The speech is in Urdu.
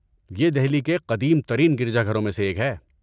یہ دہلی کے قدیم ترین گرجا گھروں میں سے ایک ہے۔